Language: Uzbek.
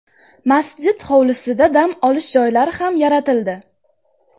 Masjid hovlisida dam olish joylari ham yaratildi.